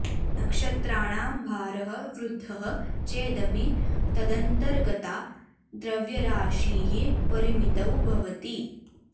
नक्षत्राणां भारः वृद्धः चेदपि तदन्तर्गता द्रव्यराशिः परिमितौ भवति